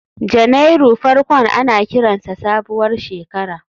Janairu farkon ana kiransa sabuwar shekara